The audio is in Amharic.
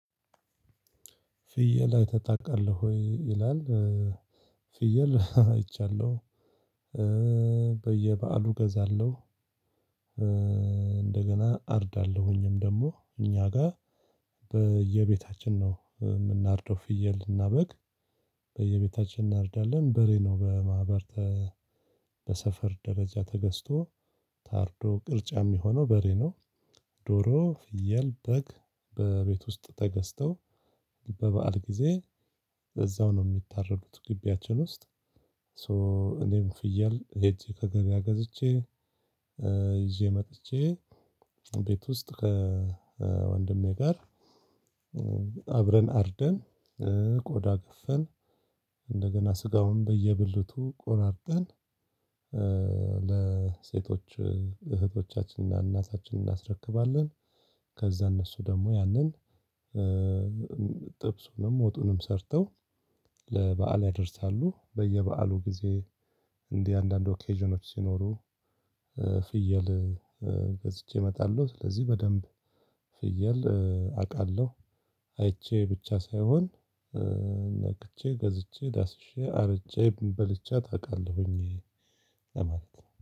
ፍየል አይተህ ታውቃለህ ወይ? ይላል ፍየል አይቻለሁ። በየበአሉ እገዛለሁ እንደገና አርዳለሁኝም ደግሞ እኛ ጋር በየቤታችን ነው የምናርደው ፍየል እና በግ በየቤታችን እናርዳለን። በሬ ነው በማህበር ተ በሰፈር ደረጃ ተገዝቶ ታርዶ ቅርጫ የሚሆነው በሬ ነው። ዶሮ፣ ፍየል፣ በግ በቤት ውስጥ ተገዝተው በበዓል ጊዜ በዛው ነው የሚታረዱት ግቢያችን ውስጥ። 'ሶ' እኔም ፍየል ሄጄ ከገበያ ገዝቼ ይዤ መጥቼ ቤት ውስጥ ከወንድሜ ጋር አብረን አርደን ቆዳ ገፈን እንደገና ስጋውን በየብልቱ ቆራርጠን ለሴቶች እህቶቻችንና እናታችንን እናስረክባለን። ከዛ እነሱ ደግሞ ያንን ጥብሱንም ወጡንም ሰርተው ለበአል ያደርሳሉ። በየበአሉ ጊዜ እንዲህ አንዳንድ 'ኦኬዥኖች' ሲኖሩ ፍየል ገዝቼ እመጣለሁ። ስለዚህ በደንብ ፍየል አውቃለሁ አይቼ ብቻ ሳይሆን ነክቼ ገዝቼ ዳስሼ አርጄ በልቻት አውቃለሁኝ እኔ።